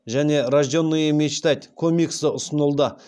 және рожденные мечтать комиксі ұсынылды